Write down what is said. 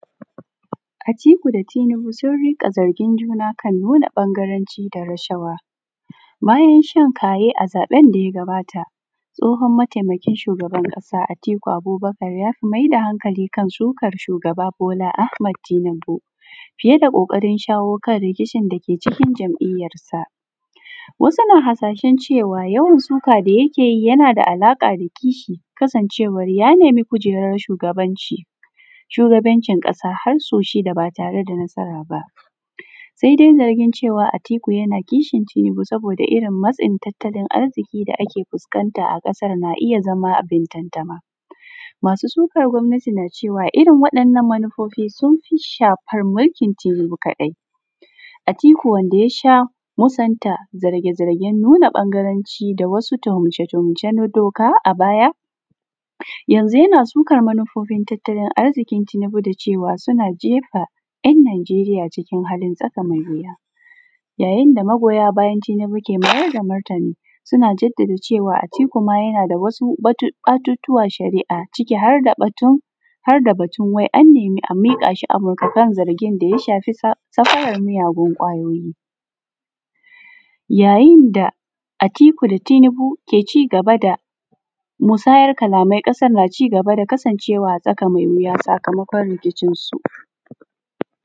Atiku da tunubu sun runƙa zargin juna kan nuna ɓangaranci da rashawa. Bayan shan kayi a zaɓen daya gabata tsohon ɗantakaran shugaban ƙasa Atiku Abubakar ya maida hankali kan sukan shuga Bola Ahmad tunubu fiye da ƙoƙarin shawo kan rikincin dake cikin jam’iyyansa. Wasu na has ashen cewan yawan shukan da yakeyi yanada alaƙa da kishi kasancewar ya nemi kujerar shugabancin ƙasa harsau shida ba tareda samun nasara ba, saidai zargin cewan Atiku yana zargin Tunubu akan matsin tattalin arziƙi da ake fuskanta a ƙasan na iyya zama abin tantama. Masu sukar gwamanati na cewan irrin waɗannan manufofi sunfi shafar mulkin Tunubu kaɗai, Atiku da yasha musanta zarge zargen nuna ɓangaranci da wasu tuhumce tuhumce na doka a baya, yanzu yana sukar manufofin tattalinarzikin Tunubu da cewa suna jefa ‘yan’ najeriya cikin tsaka mai wuya. Ya yinda magoya bayan tunubu ke maida martini suna bayyana cewa Atiku ma yanada wasu batutuwan sharia ciki harda batun wai annemi a miƙashi Amurka kan zangin da ya shafi safarar miyagun kwayoyi ya yinda Atiku da Tunubu ke musayar kalamai ƙasar na cigaba da kasan cewa a tsaka mai wuya sakamakon riki cinsu